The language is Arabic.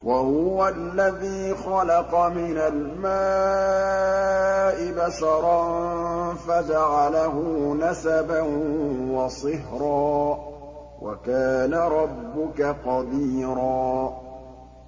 وَهُوَ الَّذِي خَلَقَ مِنَ الْمَاءِ بَشَرًا فَجَعَلَهُ نَسَبًا وَصِهْرًا ۗ وَكَانَ رَبُّكَ قَدِيرًا